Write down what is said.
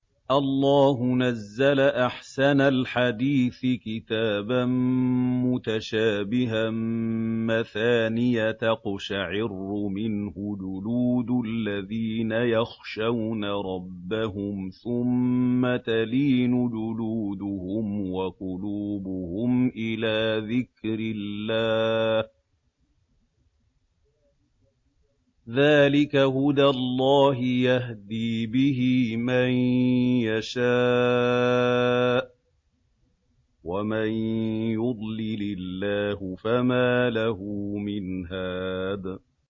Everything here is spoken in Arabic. اللَّهُ نَزَّلَ أَحْسَنَ الْحَدِيثِ كِتَابًا مُّتَشَابِهًا مَّثَانِيَ تَقْشَعِرُّ مِنْهُ جُلُودُ الَّذِينَ يَخْشَوْنَ رَبَّهُمْ ثُمَّ تَلِينُ جُلُودُهُمْ وَقُلُوبُهُمْ إِلَىٰ ذِكْرِ اللَّهِ ۚ ذَٰلِكَ هُدَى اللَّهِ يَهْدِي بِهِ مَن يَشَاءُ ۚ وَمَن يُضْلِلِ اللَّهُ فَمَا لَهُ مِنْ هَادٍ